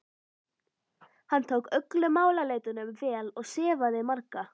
Hann tók öllum málaleitunum vel og sefaði marga.